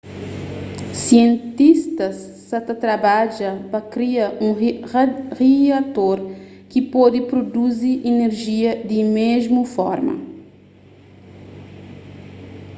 sientistas sa ta trabadja pa kria un riator ki pode pruduzi inerjia di mésmu forma